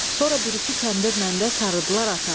Sonra bir-iki kəndirlə də sarıdılar ata.